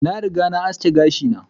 Na riga na aski gashi na.